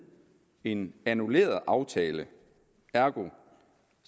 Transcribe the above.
en annulleret aftale ergo